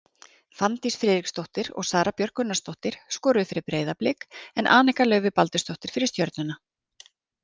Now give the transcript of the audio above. Fanndís Friðriksdóttir og Sara Björk Gunnarsdóttir skoruðu fyrir Breiðablik en Anika Laufey Baldursdóttir fyrir Stjörnuna.